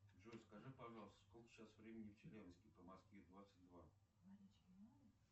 джой скажи пожалуйста сколько сейчас времени в челябинске по москве двадцать два